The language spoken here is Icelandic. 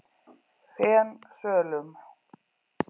Fensölum